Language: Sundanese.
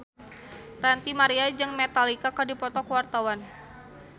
Ranty Maria jeung Metallica keur dipoto ku wartawan